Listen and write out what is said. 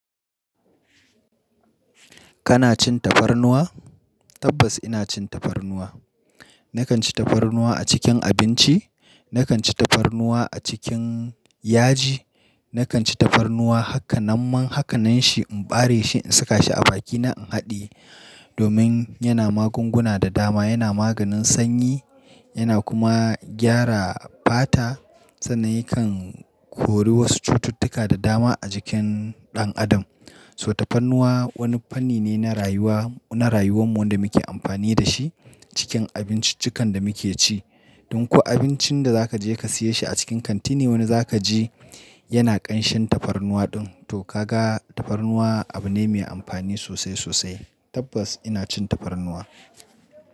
Kana cin tafarnuwa? Tabbas ina cin tafarnuwa. Nakan ci tafarnuwa a cikin abinci, nakan ci tafarnuwa a cikin yaji, nakan ci tafarnuwa haka na man hakanan shi in bare shi in saka shi a bakina in haɗiye domin yana magunguna da dama, yana maganin sanyi yana kuma gyara fata, sanan ikan kori wasu cututtuka da dama a jikin ɗan adam. So tafarnuwa wani fanni ne na rayuwa, na rayuwanmu da muke amfani da shi cikin abinciccikan da muke ci. Dun kuwa abincin da za ka je ka siya shi a cikin kanti ne wanda za ka ji yana ƙanshin tafarnuwa din, to ka ga tafarnuwa abu ne mai amfani sosai sosai. Tabbas ina cin tafarnuwa.